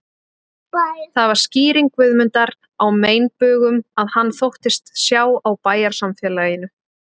Það var skýring Guðmundar á meinbugum, sem hann þóttist sjá á bæjarsamfélaginu